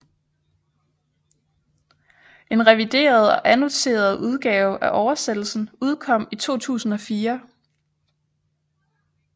En revideret og annoteret udgave af oversættelsen udkom i 2004